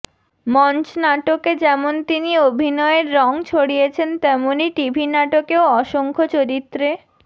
মঞ্চ নাটকে যেমন তিনি অভিনয়ের রঙ ছড়িয়েছেন তেমনি টিভি নাটকেও অসংখ্য চরিত্রে